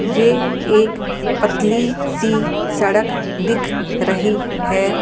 ये एक पतली सी सड़क दिख रही है ।